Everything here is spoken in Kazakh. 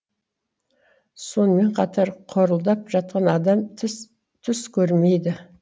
сонымен қатар қорылдап жатқан адам түс көрмейді